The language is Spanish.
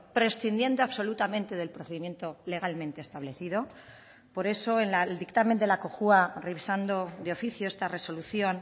prescindiendo absolutamente del procedimiento legalmente establecido por eso en el dictamen de la cojua revisando de oficio esta resolución